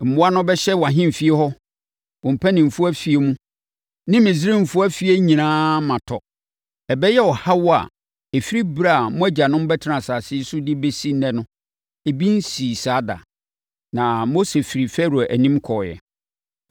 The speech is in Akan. Mmoa no bɛhyɛ wʼahemfie hɔ, wo mpanimfoɔ afie mu ne Misraimfoɔ afie nyinaa ma tɔ. Ɛbɛyɛ ɔhaw a, ɛfiri ɛberɛ a mo agyanom bɛtenaa asase yi so de bɛsi ɛnnɛ no, ebi nsii saa da.’ ” Na Mose firii Farao anim kɔeɛ.